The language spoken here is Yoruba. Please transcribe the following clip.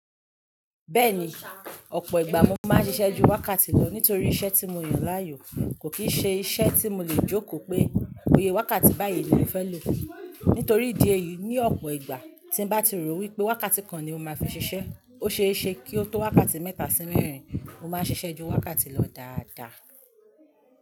Bẹ́ẹ̀ni, ọ̀pọ̀ ìgbà mo máa ń ṣiṣẹ́ ju wákàtí lọ nítorí iṣẹ́ tí mo yàn láàyò kò kí ń ṣe iṣẹ́ tí mo lè jókòó pé bi wákàtí báyìí ni mo fẹ́ lò. Nítorí ìdí èyí, ní ọ̀pọ̀ ìgbà tí bá ti rò wípé wákàtí kan ni mo máa fi ṣiṣẹ́ ó ṣe é ṣe kí ó tó wákàtí mẹ́ta sí mẹ́rin mo máa ṣiṣẹ́ ju wákàtí lọ dáadáa.